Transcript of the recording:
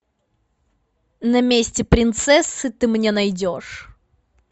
на месте принцессы ты мне найдешь